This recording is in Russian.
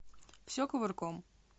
все кувырком